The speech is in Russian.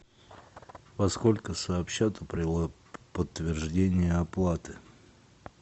во сколько сообщат о подтверждении оплаты